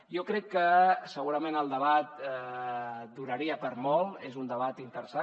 jo crec que segurament el debat donaria per a molt és un debat interessant